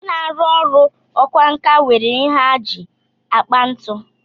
Ndị na-arụ ọrụ ọkwánka nwere ihe ha ji akpa ntu